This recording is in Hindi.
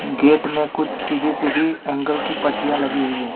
गेट में कुछ सीधी सीधी एंगल की पट्टियां लगी हुई है।